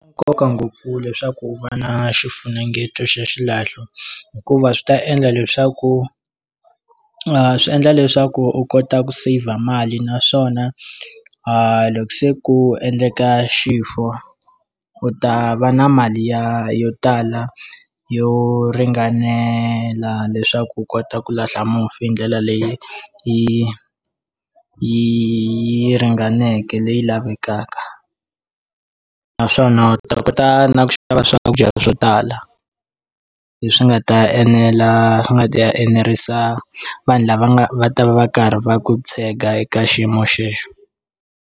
Nkoka ngopfu leswaku u va na xifunengeto xa xilahlo hikuva swi ta endla leswaku a swi endla leswaku u kota ku saver mali naswona a loko se ku endleka xifuwo u ta va na mali ya yo tala yo ringanela leswaku u kota ku lahla mufi hi ndlela leyi yi yi ringaneke leyi lavekaka naswona u ta kota na ku xava swakudya swo tala leswi nga ta enela swi nga ti enerisa vanhu lava nga va ta va va karhi va ku tshega eka xiyimo xexo.